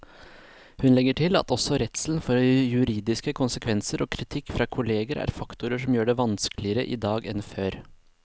Hun legger til at også redselen for juridiske konsekvenser og kritikk fra kolleger er faktorer som gjør det vanskeligere i dag enn før.